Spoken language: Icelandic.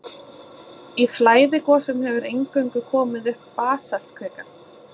Í flæðigosum hefur eingöngu komið upp basaltkvika.